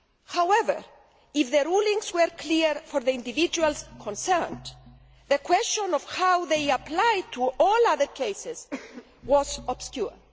However, if the rulings were clear for the individuals concerned, the question of how they apply to all other cases was obscure.